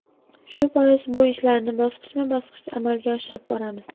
Shu bois, bu ishlarni bosqichma-bosqich amalga oshirib boramiz.